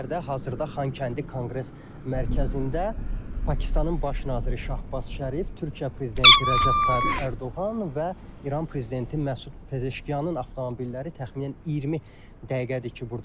Hazırda Xankəndi Konqres Mərkəzində Pakistanın baş naziri Şahbaz Şərif, Türkiyə prezidenti Rəcəb Tayyib Ərdoğan və İran prezidenti Məsud Pezeşkiyanın avtomobilləri təxminən 20 dəqiqədir ki, burdadırlar.